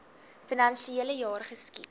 finansiele jaar geskied